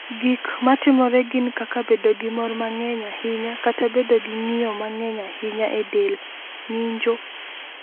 "Gik ma timore gin kaka bedo gi mor mang’eny ahinya kata bedo gi ng’iyo mang’eny ahinya e del (ng’injo,